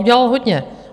Udělal hodně.